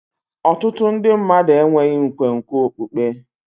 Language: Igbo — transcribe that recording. Ọtụtụ ndị mmadụ enweghị nkwenkwe okpukpe.